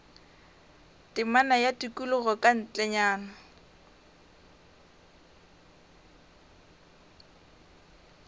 temana ya tikologo ka ntlenyana